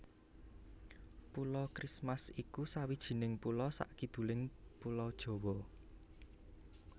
Pulo Christmas iku sawijining pulo sakiduling Pulo Jawa